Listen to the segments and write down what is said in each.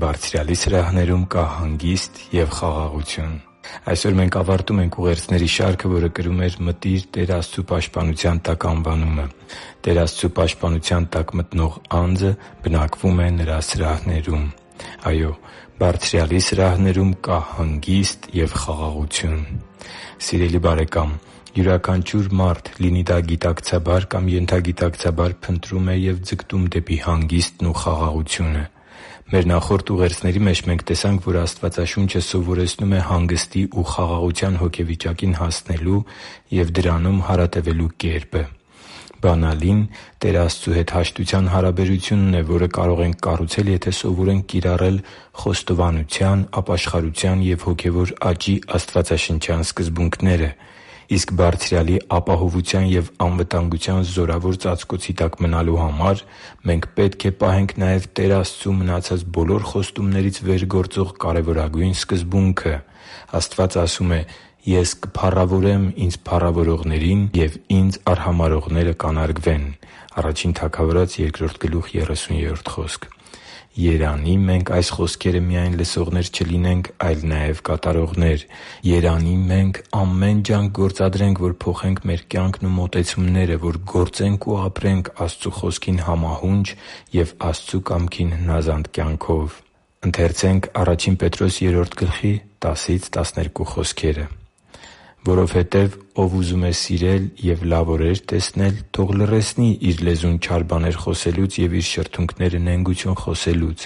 Բարձրյալի սրահներում կա հանգիստ և խաղաղություն Այսօր մենք ավարտում ենք ուղերձների շարքը, որը կրում էր «Մտի՛ր Տեր Աստծու պաշտպանության տակ» անվանումը։ Տեր Աստծու պաշտպանության տակ մտնող անձը բնակվում է Նրա սրահներում։ Այո՛, Բարձրյալի սրահներում կա հանգիստ և խաղաղություն։ Սիրելի՛ բարեկամ, յուրաքանչյուր մարդ, լինի դա գիտակցաբար կամ ենթագիտակցաբար, փնտրում է և ձգտում դեպի հանգիստն ու խաղաղությունը։ Մեր նախորդ ուղերձների մեջ մենք տեսանք, որ Աստվածաշունչը սովորեցնում է հանգստի ու խաղաղության հոգեվիճակին հասնելու և դրանում հարատևելու կերպը։ Բանալին Տեր Աստծու հետ հաշտության հարաբերությունն է, որը կարող ենք կառուցել, եթե սովորենք կիրառել խոստովանության, ապաշխարության և հոգևոր աճի աստվածաշնչյան սկզբունքները։ Իսկ Բարձրյալի ապահովության և անվտանգության զորավոր ծածկոցի տակ մնալու համար մենք պետք է պահենք նաև Տեր Աստծու մնացած բոլոր խոստումներից վեր գործող կարևորագույն սկզբունքը՝ Աստված ասում է․ «Ես կփառավորեմ Ինձ փառավորողներին, և Ինձ արհամարհողները կանարգվեն» (Ա Թագավորաց 2․30): Երանի՜ մենք այս խոսքերը միայն լսողներ չլինենք, այլ նաև՝ կատարողներ։ Երանի՜ մենք ամեն ջանք գործադրենք, որ փոխենք մեր կյանքն ու մոտեցումները, որ գործենք ու ապրենք Աստծու Խոսքին համահունչ և Աստծու կամքին հնազանդ կյանքով։ «Որովհետև «Ով ուզում է սիրել և լավ օրեր տեսնել, թող լռեցնի իր լեզուն չար բաներ խոսելուց, և իր շրթունքները՝ նենգություն խոսելուց։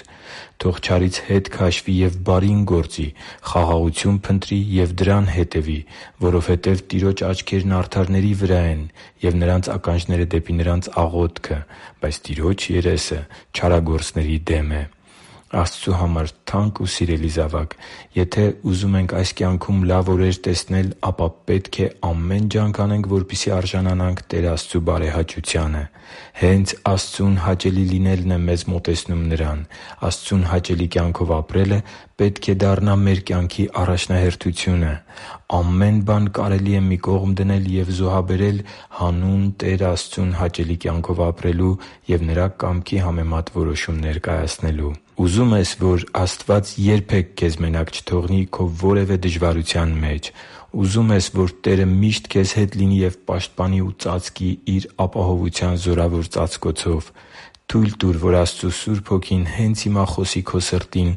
Թող չարից հետ քաշվի և բարին գործի, խաղաղություն փնտրի և դրան հետևի։ Որովհետև Տիրոջ աչքերն արդարների վրա են, ու Նրա ականջները՝ դեպի նրանց աղոթքը, բայց Տիրոջ երեսը չարագործների դեմ է» (Ա Պետրոս 3.10-12): Աստծու համար թանկ ու սիրելի՛ զավակ, եթե մենք ուզում ենք այս կյանքում լավ օրեր տեսնել, ապա պետք է ամեն ջանք անենք, որպեսզի արժանանանք Տեր Աստծու բարեհաճությանը։ Հե՛նց Աստծուն հաճելի լինելն է մեզ մոտեցնում Նրան։ Աստծուն հաճելի կյանքով ապրելը պետք է դառնա մեր կյանքի առաջնահերթությունը։ Ամեն բան կարելի է մի կողմ դնել ու զոհաբերել հանուն Տեր Աստծուն հաճելի կյանքով ապրելու և Նրա կամքի համեմատ որոշումներ կայացնելու։ Ուզո՞ւմ ես, որ Աստված երբե՛ք քեզ մենակ չթողնի քո որևէ դժվարության մեջ։ Ուզո՞ւմ ես, որ Տերը միշտ քեզ հետ լինի և պաշտպանի ու ծածկի Իր ապահովության զորավոր ծածկոցով։ Թո՛ւյլ տուր, որ Աստծու Սուրբ Հոգին հե՛նց հիմա խոսի քո սրտին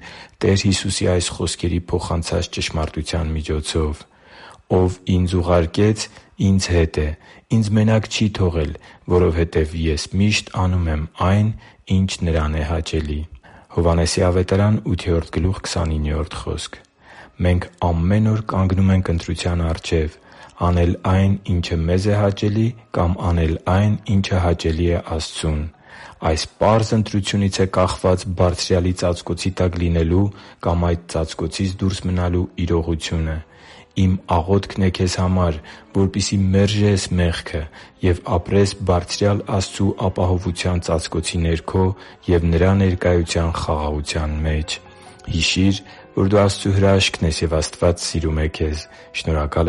Տեր Հիսուսի այս խոսքերի փոխանցած ճշմարտության միջոցով․ «Ով Ինձ ուղարկեց, Ինձ հետ է. Ինձ մենակ չի թողել, որովհետև Ես միշտ անում եմ այն, ինչ Նրան հաճելի է» (Հովհաննես 8.29): Մենք ամեն օր կանգնում ենք ընտրության առաջ․ անել այն, ինչը մեզ է հաճելի, կա՛մ անել այն, ինչը հաճելի է Աստծուն։ Այս պարզ ընտրությունից է կախված Բարձրյալի ծածկոցի տակ լինելու կամ այդ ծածկոցից դուրս մնալու իրողությունը։ Իմ աղոթքն է քեզ համար, որպեսզի մերժե՛ս մեղքը և ապրես Բարձրյալ Աստծու ապահովության ծածկոցի ներքո և Նրա ներկայության խաղաղության մեջ։ Հիշի՛ր, որ դու Աստծո հրաշքն ես, և Աստված սիրում է քեզ։ Շնորհակալ